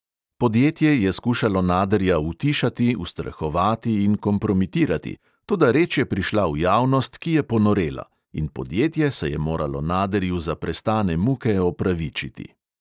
Podjetje je skušalo naderja utišati, ustrahovati in kompromitirati, toda reč je prišla v javnost, ki je ponorela – in podjetje se je moralo naderju za prestane muke opravičiti.